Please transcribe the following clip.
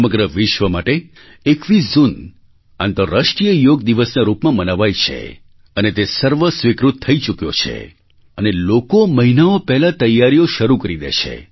સમગ્ર વિશ્વ માટે 21 જૂન આંતરરાષ્ટ્રીય યોગ દિવસના રૂપમાં મનાવાય છે અને તે સર્વ સ્વીકૃત થઈ ચૂક્યો છે અને લોકો મહિનાઓ પહેલાં તૈયારીઓ શરૂ કરી દે છે